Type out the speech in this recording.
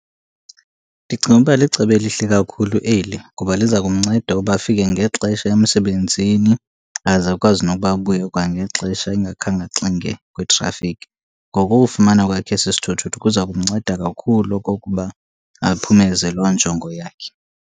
Ndicinga ukuba licebo elihle kakhulu eli, ngoba liza kumnceda uba afike ngexesha emsebenzini aze akwazi nokuba abuye kwangexesha engakhange axinge kwitrafikhi. Ngoku ufumana kwakhe esi sithuthuthu kuza kumnceda kakhulu okokuba aphumeze loo njongo yakhe.